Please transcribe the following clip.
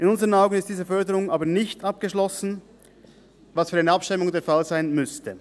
In unseren Augen ist diese Förderung aber nicht abgeschlossen, was für eine Abschreibung der Fall sein müsste.